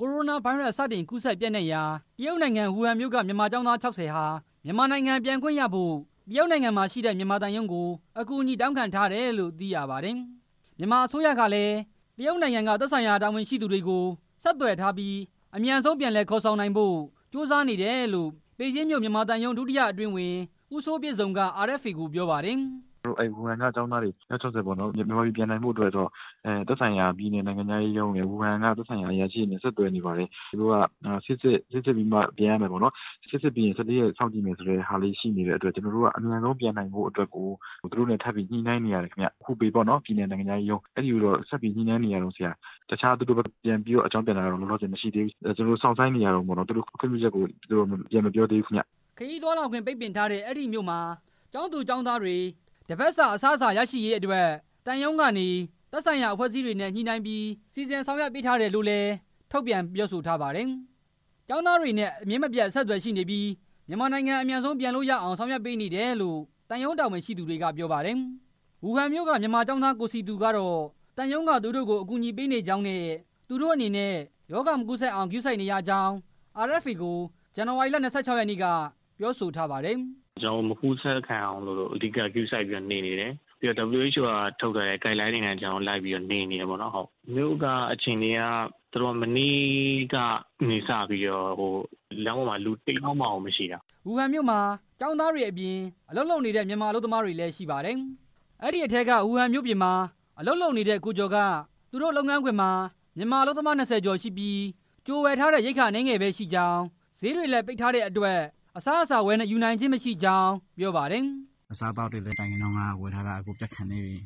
ကိုရိုနာဗိုင်းရပ်စ်စတင် ကူးစက်ပျံ့နှံ့ရာ တရုတ်နိုင်ငံ ဝူဟန်မြို့က မြန်မာကျောင်းသား ၆၀ ဟာ မြန်မာနိုင်ငံပြန်ခွင့်ရဖို့ တရုတ်နိုင်ငံမှာရှိတဲ့ မြန်မာသံရုံးကို အကူညီတောင်းခံထားတယ်လို့ သိရပါတယ်။ မြန်မာအစိုးရကလည်း တရုတ်နိုင်ငံက သက်ဆိုင်ရာ တာဝန်ရှိသူတွေကို ဆက်သွယ်ထားပြီး အမြန်ဆုံး ပြန်လည် ခေါ်ဆောင်နိုင်ဖို့ ကြိုးစားနေတယ်လို့ ပေကျင်းမြို့ မြန်မာသံရုံး ဒုတိယအတွင်းဝန် ဦးစိုးပြည့်စုံက RFA ကို ပြောပါတယ်။ “ဝူဟန်က မြန်မာကျောင်းသား အယောက် ၆၀ မြန်မာပြည်ပြန်နိုင်ဖို့အတွက်ကို သက်ဆိုင်ရာပြည်နယ် နိုင်ငံခြားရေးရုံးရယ်၊ ဝူဟန်က သက်ဆိုင်ရာအရာရှိတွေနဲ့ ဆက်သွယ်နေပါတယ်၊ သူတို့က ဆေးစစ်ပြီးမှ ပြန်ရမယ်ပေါ့နော်၊ ဆေးစစ်ပြီး ၁၄ ရက်စောင့်ကြည်ရမယ့်ဆိုတဲ့ဟာလေးရှိနေတဲ့အတွက် ကျနော်တို့က အမြန်ဆုံးပြန်နိုင်ဖို့အတွက်ကို သူတို့နဲ့ ပြန်ပြီးညှိနှိုင်းနေရတယ်ဗျ၊ ဟူပေနိုင်ငံခြားရေးရုံး အဲကိုဆက်ညှိနှိုင်း နေရတယ်၊ သူတို့ဘက်က ပြန်ပြီးအကြောင်းပြန်တာတော့ လောလောဆယ် မရှိသေးဘူး၊ ကျနော်တို့ စောင့်ဆိုင်းနေရတုန်းပေါ့နော်၊ သူတို့ဘက်က ခွင်ပြုချက်ကို ပြန်မပြောသေးဘူး” ခရီးသွားလာခွင့် ပိတ်ပင်ထားတဲ့ အဲဒီမြို့မှာ ကျောင်းသူ၊ ကျောင်းသားတွေ တစ်ပတ်စာ အစားအစာ ရရှိရေး အတွက် သံရုံးကနေ သက်ဆိုင်ရာ အဖွဲ့အစည်းတွေနဲ့ ညှိနှိုင်းပြီး စီစဉ်ဆောင်ရွက်ပေးထားတယ်လို့လည်း ထုတ်ပြန်ပြောဆိုထားပါတယ်။ ကျောင်းသားတွေနဲ့ အမြဲမပြတ် အဆက်အသွယ်ရရှိနေပြီး မြန်မာနိုင်ငံ အမြန်ဆုံးပြန်လို့ရအောင် ဆောင်ရွက်ပေး နေတယ်လို့ သံရုံးတာဝန်ရှိသူတွေက ပြောပါတယ်။ ဝူဟန်မြို့က မြန်မာကျောင်းသား ကိုစည်သူကတော့ သံရုံးကသူတို့ကို ကူညီဆောင်ရွက်ပေးနေကြောင်းနဲ့ သူတို့အနေနဲ့ ရောဂါမကူးစက်အောင် ဂရုစိုက်နေရကြောင်း RFA ကို ဇန်နဝါရီ ၂၆ ရက်နေ့က ပြောဆိုထားပါတယ်။ “ကျနော်တို့ မကူးစက်ခံရအောင် အဓိကဂရုစိုက်ပြီး နေနေတယ်၊ နောက်ပြီး WHO ကထုတ်ထားတဲ့ ဂိုက်လိုင်းတွေအတိုင်း ကျနော်တို့ နေနေတယ်ပေါ့နော်၊ မြို့အခြေအနေက မနေ့ကနေစပြီးတော့ လမ်းပေါ်မှာ လူတစ်ယောက်မှကို မရှိတာ” ဝူဟန်မြို့မှာ ကျောင်းသားတွေအပြင် အလုပ်လုပ်နေတဲ့ မြန်မာအလုပ်သမားတွေလည်း ရှိပါတယ်။ အဲဒီထဲက ဝူဟန်မြို့ပြင်မှာ အလုပ်လုပ်ကိုင်တဲ့ ကိုကျော်က သူတို့ လုပ်ငန်းခွင်ထဲမှာ မြန်မာအလုပ်သမား ၂၀ ကျော်ရှိပြီး ကြိုဝယ်ထားတဲ့ ရိက္ခာအနည်းငယ်ပဲရှိကြောင်း၊ ဈေးတွေလည်း ပိတ်ထားတဲ့အတွက် အစားအစာ ဝယ်ယူနိုင်ခြင်း မရှိကြောင်း ပြောပါတယ်။ “အစားသောက်တွေလည်း မတိုင်ခင်တုန်းက ဝယ်ထားတာ ပြတ်ခါနီးပြီ